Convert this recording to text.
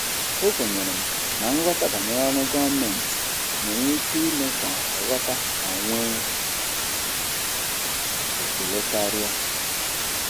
Ekwenyere m na nghọta banyere ọrụ gọọmentị nwere ike ime ka ọha ghọta ma nwee ekele karịa.